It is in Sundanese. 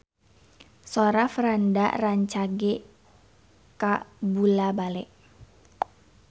Sora Franda rancage kabula-bale